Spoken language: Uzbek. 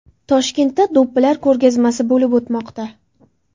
Toshkentda do‘ppilar ko‘rgazmasi bo‘lib o‘tmoqda.